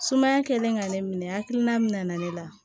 Sumaya kɛlen ka ne minɛ hakilina min nana ne la